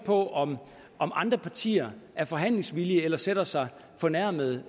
på om andre partier er forhandlingsvillige eller sætter sig fornærmede